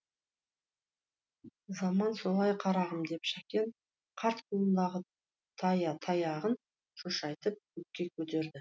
заман солай қарағым деп шәкен қарт қолындағы таяғын шошайтып көкке көтерді